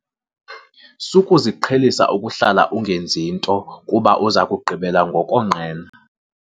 Sukuziqhelisa ukuhlala ungenzi nto kuba uza kugqibela ngokonqena.